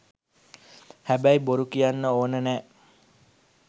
හැබැයි බොරු කියන්න ඕනෙ නෑ.